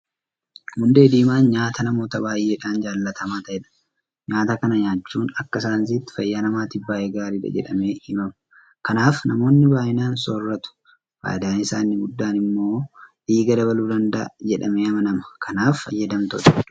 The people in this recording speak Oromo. Hundee diimaan nyaata namoota baay'eedhaan jaalatamaa ta'edha. Nyaata kana nyaachuun akka saayinsiitti fayyaa namaatiif baay'ee gaariidha jedhamee himama. Kanaaf namoonni baay'inaan soorratu. Faayidaan isaa inni guddaan immoo dhiiga dabaluu danda'a jedhamee amanama. Kanaaf fayyadamtoota hedduu qaba.